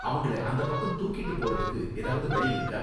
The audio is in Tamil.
அவங்கள அந்தப் பக்கம் தூக்கிட்டு போறதுக்கு ஏதாவது வழி இருக்கா?